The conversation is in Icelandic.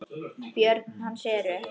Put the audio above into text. Börn hans eru